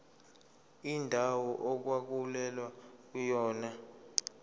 indawo okwakulwelwa kuyona